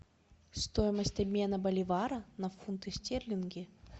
стоимость обмена боливара на фунты стерлинги